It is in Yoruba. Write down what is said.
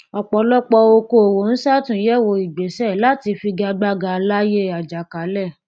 ọpọlọpọ òkòòwò n ṣàtúnyẹwò ìgbéṣẹ láti figagbága láyé àjàkálẹ